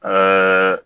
Ɛɛ